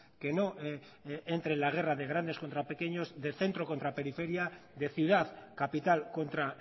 que no entre en la guerra de grandes contra pequeños de centro contra periferia de ciudad capital contra